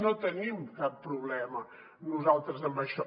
no tenim cap problema nosaltres en això